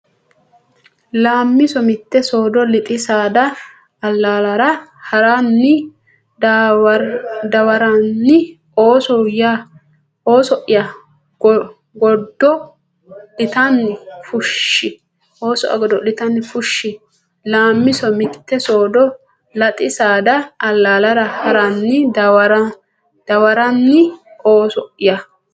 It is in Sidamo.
Laammiso Mitte soodo Lexxi saada allaalara haa re dawaranni ooso ya godo litanni fushshi Laammiso Mitte soodo Lexxi saada allaalara haa re dawaranni ooso ya.